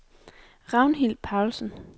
Ragnhild Paulsen